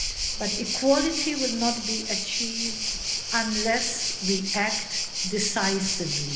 But equality will not be achieved unless we act decisively.